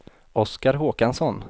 Oskar Håkansson